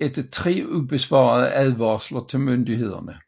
efter tre ubesvarede advarsler til myndighederne